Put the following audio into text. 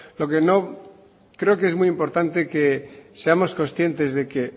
creo que es muy importante que seamos conscientes de que